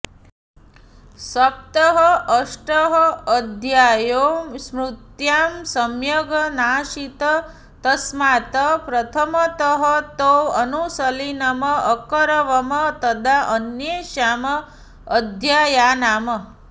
सप्तः अष्टः अध्यायौ स्मृत्यां सम्यग् नासीत् तस्मात् प्रथमतः तौ अनुशीलनम् अकरवम् तदा अन्येषाम् अध्यायानाम्